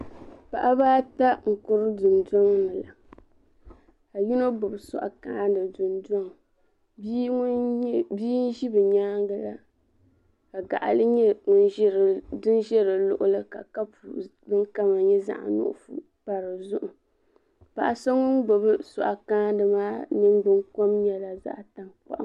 Paɣiba ata n-kuri dundɔŋ ni la ka yino gbubi sɔɣu kaani dundɔŋ bia n-ʒi bɛ nyaaŋa la ka gaɣili nyɛ din ʒe di luɣili ka kapu din kama nyɛ zaɣ'nuɣuso pa di zuɣu paɣa so ŋun gbubi sɔɣu kaani maa ningbunkom nyɛla zaɣ'tankpaɣu.